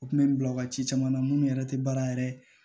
U kun bɛ n bila u ka ci caman na munnu yɛrɛ tɛ baara yɛrɛ